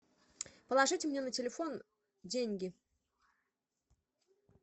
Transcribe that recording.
положите мне на телефон деньги